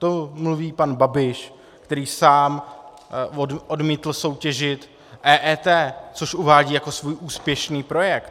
To mluví pan Babiš, který sám odmítl soutěžit EET, což uvádí jako svůj úspěšný projekt.